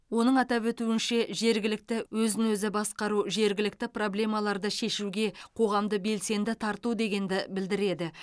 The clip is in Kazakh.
оның атап өтуінше жергілікті өзін өзі басқару жергілікті проблемаларды шешуге қоғамды белсенді тарту дегенді білдіреді